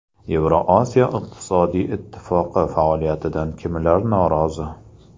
Yevrosiyo iqtisodiy ittifoqi faoliyatidan kimlar norozi?.